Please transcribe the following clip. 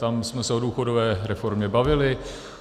Tam jsme se o důchodové reformě bavili.